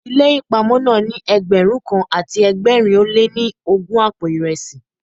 Ilé ìpamọ́ náà ní Ẹgbẹ̀rún kan àti ẹgbẹ̀rin ó lé ní ogún àpò ìresí.